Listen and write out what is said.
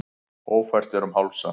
Ófært er um Hálsa